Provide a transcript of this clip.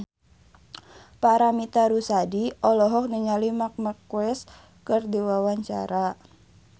Paramitha Rusady olohok ningali Marc Marquez keur diwawancara